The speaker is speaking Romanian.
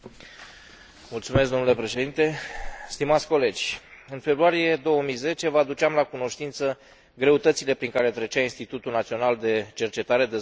În februarie 2010, vă aduceam la cunoștință greutățile prin care trecea Institutul Național de Cercetare Dezvoltare pentru Microbiologie și Imunologie Cantacuzino din țara mea.